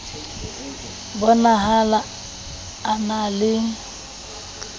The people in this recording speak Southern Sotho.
bo nahala a na le